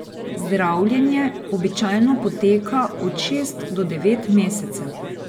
Zdravljenje običajno poteka od šest do devet mesecev.